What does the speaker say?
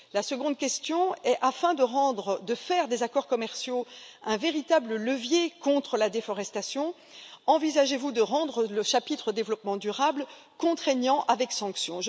La seconde question afin de faire des accords commerciaux un véritable levier contre la déforestation, envisagez vous de rendre le chapitre développement durable contraignant, avec sanctions?